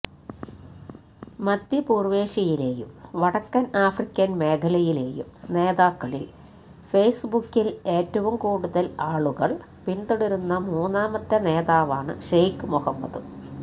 മധ്യപൂര്വേഷ്യയിലേയും വടക്കേ ആഫ്രിക്കന് മേഖലയിലേയും നേതാക്കളില് ഫേസ്ബുക്കില് ഏറ്റവും കൂടുതല് ആളുകള് പിന്തുടരുന്ന മൂന്നാമത്തെ നേതാവാണ് ഷെയ്ഖ് മൊഹമ്മദ്